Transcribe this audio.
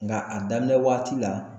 Nka a daminɛ waati la